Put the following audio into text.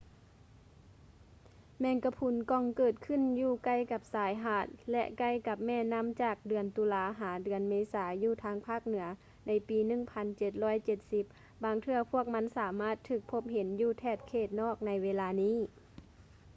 ແມງກະພຸນກ່ອງເກີດຂຶ້ນຢູ່ໃກ້ກັບຊາຍຫາດ ແລະ ໃກ້ກັບແມ່ນ້ຳຈາກເດືອນຕຸລາ ຫາ ເດືອນເມສາຢູ່ທາງພາກເໜືອໃນປີ 1770 ບາງເທື່ອພວກມັນສາມາດຖືກພົບເຫັນຢູ່ແຖບເຂດນອກໃນເວລານີ້